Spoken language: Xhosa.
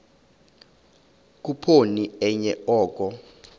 khuphoni enye oko